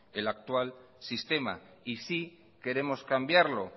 el actual sistema y sí queremos cambiarlo